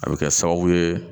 A bɛ kɛ sababu ye